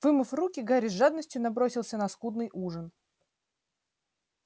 вымыв руки гарри с жадностью набросился на скудный ужин